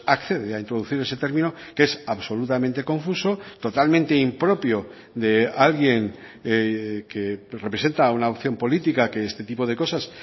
accede a introducir ese término que es absolutamente confuso totalmente impropio de alguien que representa una opción política que este tipo de cosas